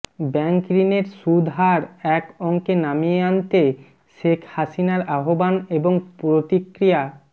ব্যাংকঋণের সুদহার এক অংকে নামিয়ে আনতে শেখ হাসিনার আহ্বান এবং প্রতিক্রিয়া